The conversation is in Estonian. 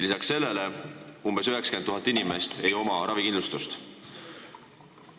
Lisaks sellele on umbes 90 000 inimest ravikindlustuseta.